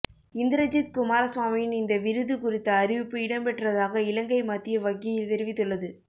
இந்திரஜித் குமாரசுவாமியின் இந்த விருது குறித்த அறிவிப்பு இடம்பெற்றதாக இலங்கை மத்திய வங்கி தெறிவித்துள்ளது